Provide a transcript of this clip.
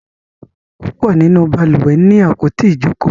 púpọ nínú balùwẹ̀ ní àpótí Ijoko.